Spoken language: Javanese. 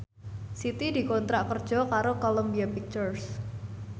Siti dikontrak kerja karo Columbia Pictures